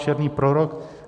Černý prorok.